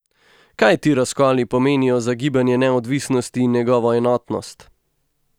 Kaj ti razkoli pomenijo za gibanje neodvisnosti in njegovo enotnost?